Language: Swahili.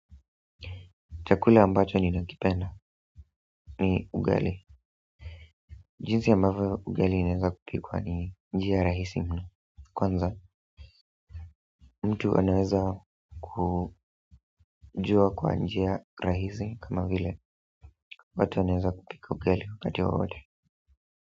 Chakula ambacho ninakipenda. Ni ugali. Jinsi ambavyo ugali inaweza kupikwa ni njia rahisi mno. Kwanza. Mtu anaweza kujua kwa njia rahisi kama vile. Watu wanaweza kupika ugali wakati wowote.